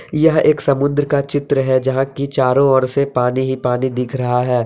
यह एक समुद्र का चित्र है जहां की चारों ओर से पानी ही पानी दिख रहा है।